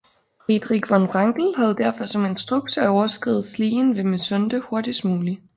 Friedrich von Wrangel havde derfor som instruks at overskride Slien ved Mysunde hurtigst muligt